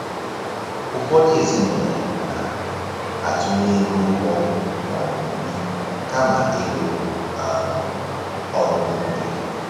Ụfọdụ ezinụlọ na-atụnye ego ụgbọ maọbụ nri kama ịrụ um ọrụ n'ubi